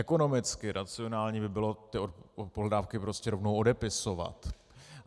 Ekonomicky racionální by bylo ty pohledávky prostě rovnou odepisovat.